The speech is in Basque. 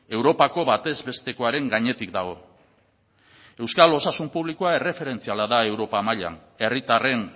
europako batez bestekoaren gainetik dago euskal osasun publikoa erreferentziala da europar mailan herritarren